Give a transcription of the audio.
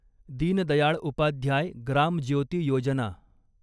Deen Dayal Upadhyay Gram Jyoti Yojana